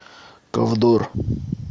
ковдор